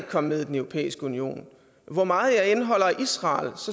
komme med i den europæiske union hvor meget jeg end holder af israel